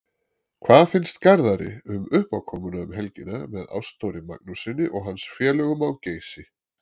Hvað finnst Garðari um uppákomuna um helgina með Ástþóri Magnússyni og hans félögum á Geysi?